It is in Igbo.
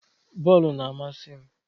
Bọọlụ na-amasị m.